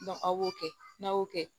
aw b'o kɛ n'a y'o kɛ